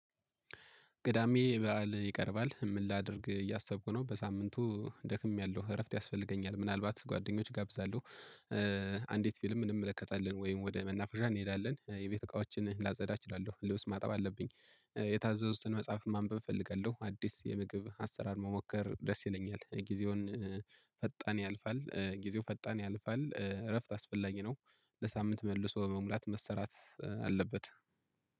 ቅዳሜ በዓል ይቀርባል ምን ላድርግ እያሰብኩ ነው በሳምንቱ ደክሜያለሁ እረፍት ያስፈልገኛል ምናልባት ጓደኞች እጋብዛለሁ። አንዲት ፊልም እንመለከታለን ወይም ወደ መናፈሻ እንሄዳለን የቤት እቃዎችን ላጸዳ እችላለሁ ልብስ ማጠብ አለብኝ የታዘዙትን መጽሐፍ ማንበብ እፈልጋለሁ። አዲስ የምግብ አሰራር መሞከር ደስ ይለኛል። ጊዜውን ፈጣን ያልፋል ጊዜው ፈጣን ያልፋል እረፍት አስፈላጊ ነው። ለሳምንት መልሶ በመሙላት መሰራት አለበት።